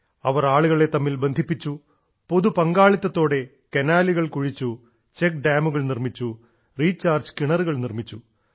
അവർ ആളുകളെ തമ്മിൽ ബന്ധിപ്പിച്ചു പൊതു പങ്കാളിത്തത്തോടെ കനാലുകൾ കുഴിച്ചു ചെക്ക് ഡാമുകൾ നിർമ്മിച്ചു റീചാർജ് കിണറുകൾ നിർമ്മിച്ചു